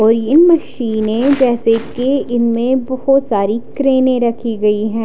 और यह मशीन है जैसे की इनमे बहोत सारी क्रेने रखी हुई है।